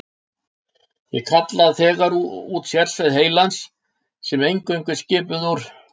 Ég kalla þegar út sérsveit heilans, sem er eingöngu skipuð úr